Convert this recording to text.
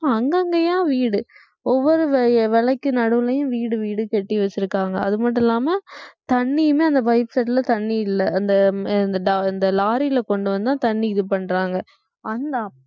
இப்ப அங்கங்கயா வீடு ஒவ்வொரு விலை~ விலைக்கு நடுவுலையும் வீடு வீடு கட்டி வச்சிருக்காங்க அது மட்டும் இல்லாம தண்ணீருமே அந்த pipe set ல தண்ணி இல்ல அந்த லாரில கொண்டு வந்தா தண்ணி இது பண்றாங்க அந்த